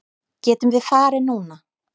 Getum við farið núna?